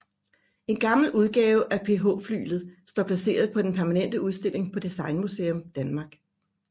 En gammel udgave af PH Flyglet står placeret på den permanente udstilling på Designmuseum Danmark